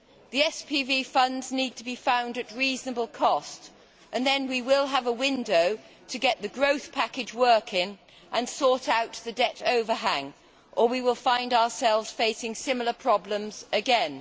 The SPV funds need to be found at a reasonable cost, and then we will have a window to get the growth package working and sort out the debt overhang, or we will find ourselves facing similar problems again.